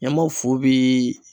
Ɲama fu bii